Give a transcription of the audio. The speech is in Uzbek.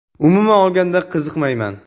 Umuman olganda, qiziqmayman.